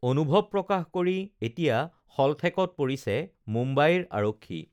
অনুভৱ প্ৰকাশ কৰি এতিয়া শলঠেকত পৰিছে মুম্বাইৰ আৰক্ষী